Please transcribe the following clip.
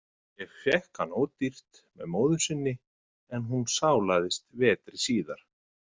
Ég fékk hann ódýrt með móður sinni en hún sálaðist vetri síðar.